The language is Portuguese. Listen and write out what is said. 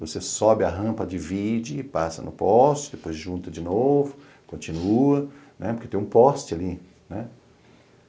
Você sobe a rampa, divide, passa no poste, depois junta de novo, continua, porque tem um poste ali.